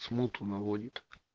смуту наводит